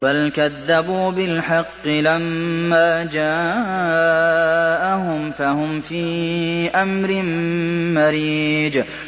بَلْ كَذَّبُوا بِالْحَقِّ لَمَّا جَاءَهُمْ فَهُمْ فِي أَمْرٍ مَّرِيجٍ